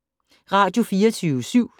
Radio24syv